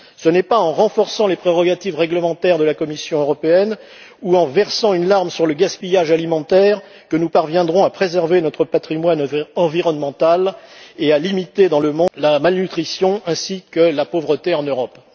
Ce n'est pas en renforçant les prérogatives réglementaires de la Commission européenne, ou en versant une larme sur le gaspillage alimentaire, que nous parviendrons à préserver notre patrimoine environnemental et à limiter la malnutrition dans le monde ainsi que la pauvreté en Europe.